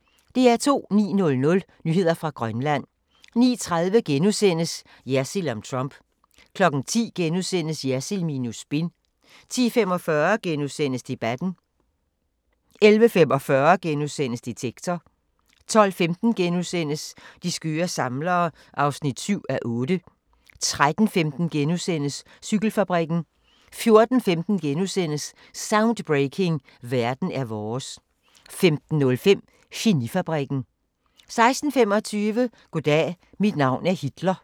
09:00: Nyheder fra Grønland 09:30: Jersild om Trump * 10:00: Jersild minus spin * 10:45: Debatten * 11:45: Detektor * 12:15: De skøre samlere (7:8)* 13:15: Cykelfabrikken * 14:15: Soundbreaking – Verden er vores * 15:05: Geni-fabrikken 16:25: Goddag, mit navn er Hitler